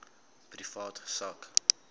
privaat sak